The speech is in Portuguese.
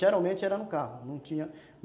Geralmente era no carro. Não tinha